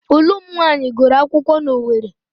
Ụlụ m nwaanyị gụrụ akwụkwọ n'Owere.